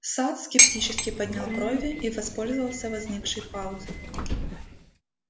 сатт скептически поднял брови и воспользовался возникшей паузой